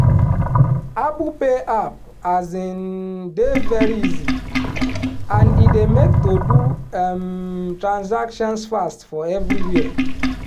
apple pay app um dey very easy and e dey make to do um transactions fast for everywhere